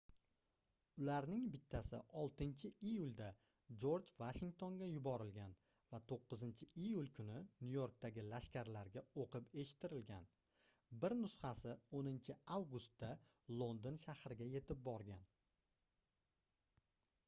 ularning bittasi 6-iyulda jorj vashingtonga yuborilgan va 9-iyul kuni nyu-yorkdagi lashkarlarga oʻqib eshittirilgan bir nusxasi 10-avgustda london shahriga yetib borgan